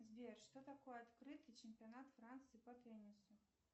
сбер что такое открытый чемпионат франции по теннису